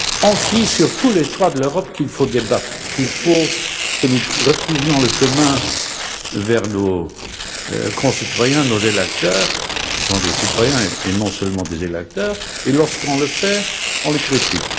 On crie sur tous les toits d'Europe qu'il faut débattre, qu'il faut que nous retrouvions le chemin vers nos concitoyens, nos électeurs qui sont des citoyens et pas seulement des électeurs et lorsqu'on le fait, on le critique.